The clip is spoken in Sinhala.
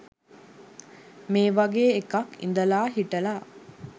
මේ වගේ එකක් ඉදලා හිටලා